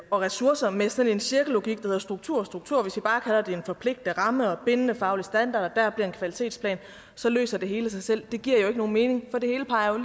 og ressourcer med sådan en cirkellogik der hedder struktur og struktur og det en forpligtende ramme og bindende faglig standard og kvalitetsplan så løser det hele sig selv giver jo ikke nogen mening for det hele peger